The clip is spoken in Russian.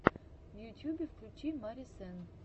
в ютьюбе включи мари сенн